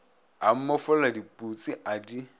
a mmofolla diputsi a di